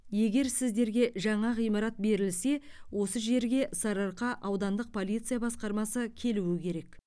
егер сіздерге жаңа ғимарат берілсе осы жерге сарыарқа аудандық полиция басқармасы келуі керек